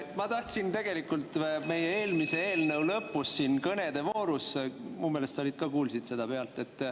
Ma tahtsin tegelikult eelmise eelnõu lõpu, kõnede vooru kohta, minu meelest sa ka kuulsid seda pealt.